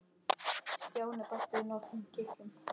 Stjáni bætti við nokkrum kitlum.